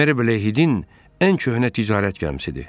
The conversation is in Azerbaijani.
Meriblə Hidin ən köhnə ticarət gəmisidir.